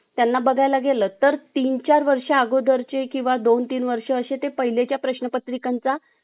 facepack लावलेला तोंडणीत चर्चा सुरू होती.